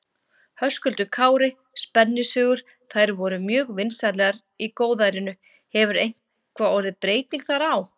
Höskuldur Kári: Spennusögur, þær voru mjög vinsælar í góðærinu, hefur eitthvað orðið breyting þar á?